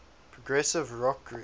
progressive rock groups